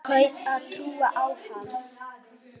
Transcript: Kaus að trúa á hana.